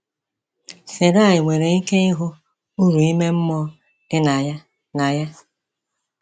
Sarai nwere ike ịhụ uru ime mmụọ dị na ya. na ya.